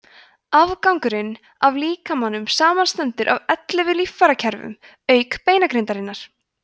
afgangurinn af líkamanum samanstendur af ellefu líffærakerfum auk beinagrindarinnar